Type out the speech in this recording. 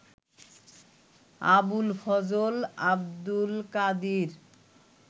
Abul Fazal, Abdul Kadir